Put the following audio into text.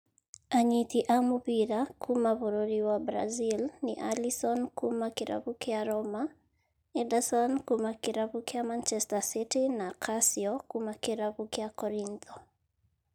Anyiti a mũbira kuuma bũrũri wa Brazil nĩ Alisson kuuma kĩrabu kĩa Roma, Ederson kuuma kĩrabu kĩa Manchester City na Cassio kuuma kĩrabu kĩa Korintho.